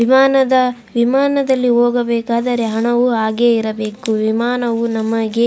ವಿಮಾನದ ವಿಮಾನದಲ್ಲಿ ಹೋಗಬೇಕಾದರೆ ಹಣವು ಹಾಗೆ ಇರಬೇಕು ವಿಮಾನವು ನಮಗೆ --